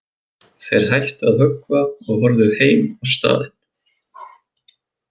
Þeir hættu að höggva og horfðu heim á staðinn.